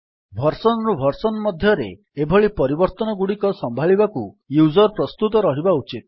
version ରୁ version ମଧ୍ୟରେ ଏଭଳି ପରିବର୍ତ୍ତନଗୁଡିକ ସମ୍ଭାଳିବାକୁ ୟୁଜର୍ ପ୍ରସ୍ତୁତ ରହିବା ଉଚିତ